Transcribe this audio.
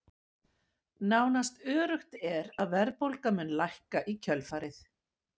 Nánast öruggt er að verðbólga mundi lækka í kjölfarið.